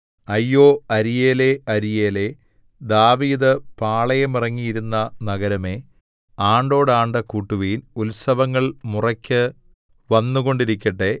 അയ്യോ അരീയേലേ അരീയേലേ ദാവീദ് പാളയമിറങ്ങിയിരുന്ന നഗരമേ ആണ്ടോട് ആണ്ട് കൂട്ടുവിൻ ഉത്സവങ്ങൾ മുറയ്ക്കു വന്നുകൊണ്ടിരിക്കട്ടെ